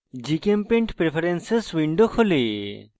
gchempaint preferences window খোলে